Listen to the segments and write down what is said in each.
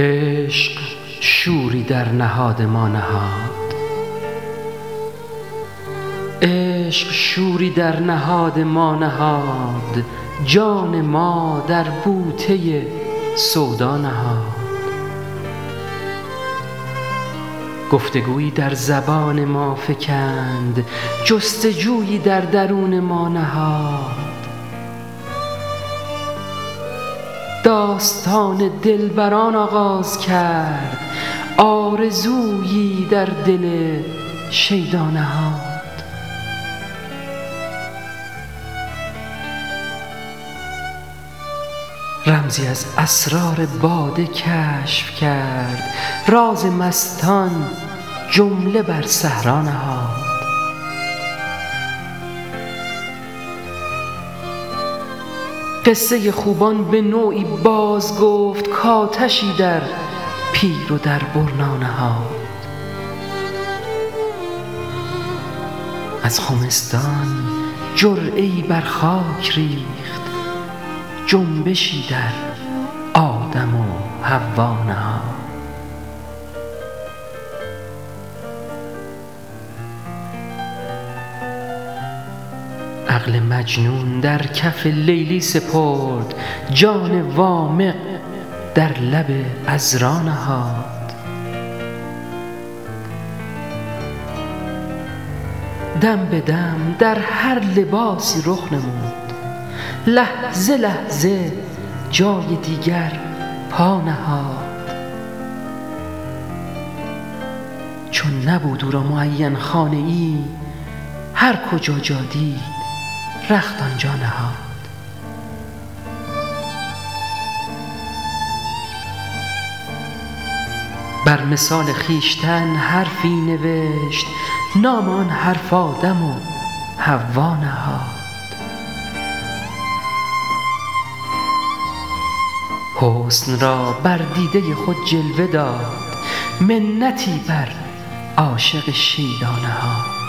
عشق شوری در نهاد ما نهاد جان ما در بوته سودا نهاد گفتگویی در زبان ما فکند جستجویی در درون ما نهاد داستان دلبران آغاز کرد آرزویی در دل شیدا نهاد رمزی از اسرار باده کشف کرد راز مستان جمله بر صحرا نهاد قصه خوبان به نوعی باز گفت کآتشی در پیر و در برنا نهاد از خمستان جرعه ای بر خاک ریخت جنبشی در آدم و حوا نهاد عقل مجنون در کف لیلی سپرد جان وامق در لب عذرا نهاد دم به دم در هر لباسی رخ نمود لحظه لحظه جای دیگر پا نهاد چون نبود او را معین خانه ای هر کجا جا دید رخت آنجا نهاد بر مثال خویشتن حرفی نوشت نام آن حرف آدم و حوا نهاد حسن را بر دیده خود جلوه داد منتی بر عاشق شیدا نهاد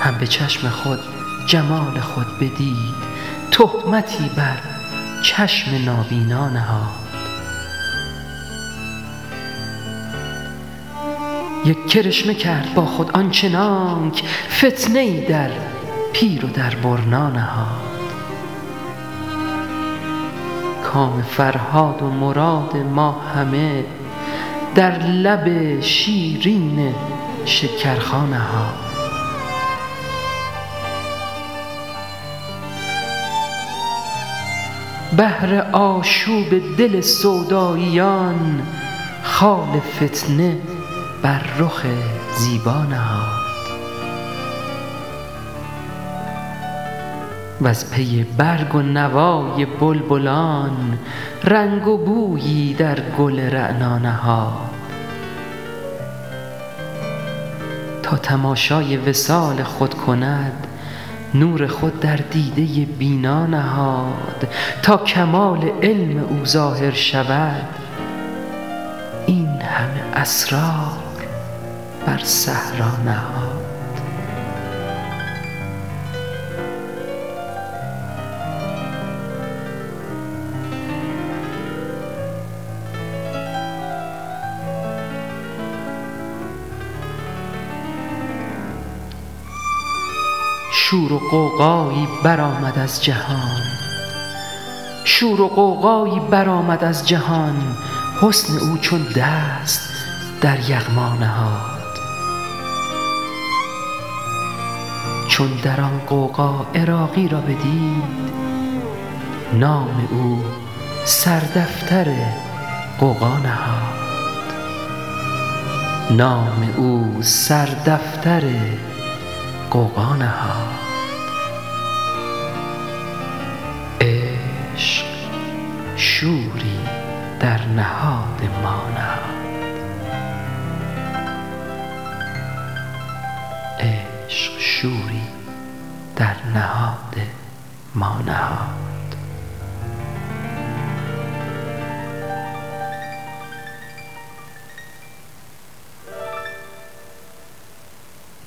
هم به چشم خود جمال خود بدید تهمتی بر چشم نابینا نهاد یک کرشمه کرد با خود آنچنانک فتنه ای در پیر و در برنا نهاد کام فرهاد و مراد ما همه در لب شیرین شکرخا نهاد بهر آشوب دل سوداییان خال فتنه بر رخ زیبا نهاد وز پی برگ و نوای بلبلان رنگ و بویی در گل رعنا نهاد تا تماشای وصال خود کند نور خود در دیده بینا نهاد تا کمال علم او ظاهر شود این همه اسرار بر صحرا نهاد شور و غوغایی برآمد از جهان حسن او چون دست در یغما نهاد چون در آن غوغا عراقی را بدید نام او سر دفتر غوغا نهاد